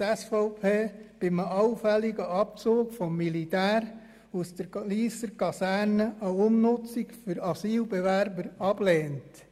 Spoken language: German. Bei einem allfälligen Abzug des Militärs aus der Lysser Kaserne lehnt die SVP eine Umnutzung für Asylbewerber ab.